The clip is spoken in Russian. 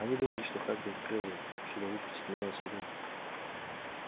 они думали что хагрид открыл её чтобы выпустить меня на свободу